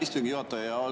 Aitäh, istungi juhataja!